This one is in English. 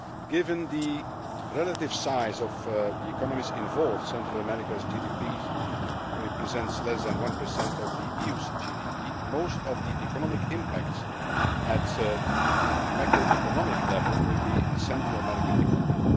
Given the relative size of the economies involved Central America's GDP represents less than 1 of the EU's GDP most of the economic impact, at a macroeconomic level, will be on the Central American economy.